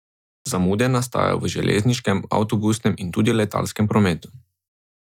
Zamude nastajajo v železniškem, avtobusnem in tudi letalskem prometu.